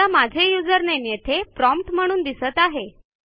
आता माझे यूझर नामे येथे प्रॉम्प्ट म्हणून दिसत आहे